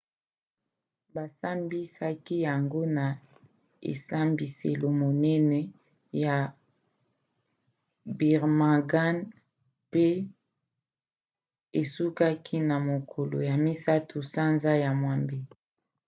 basambisaki yango na esambiselo monene ya birmingham pe esukaki na mokolo ya 3 sanza ya mwambe